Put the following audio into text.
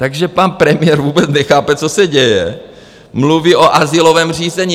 Takže pan premiér vůbec nechápe, co se děje, mluví o azylovém řízení.